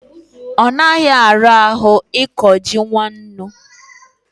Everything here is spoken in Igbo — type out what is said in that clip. onaghi arahu iko ji nwannu